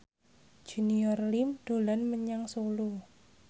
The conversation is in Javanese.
Junior Liem dolan menyang Solo